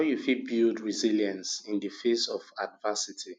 how you fit build resilience in di face of adversity